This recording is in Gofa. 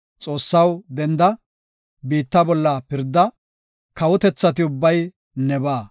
Xoossaw, denda; biitta bolla pirda; kawotethati ubbay nebaa.